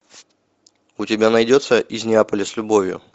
у тебя найдется из неаполя с любовью